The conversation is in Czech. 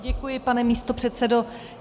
Děkuji, pane místopředsedo.